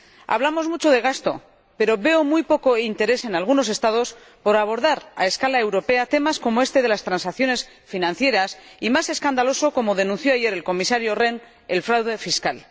Hablamos mucho de gasto, pero veo muy poco interés en algunos Estados por abordar, a escala europea, temas como este de las transacciones financieras y algo más escandaloso, como denunció ayer el Comisario Rehn el fraude fiscal.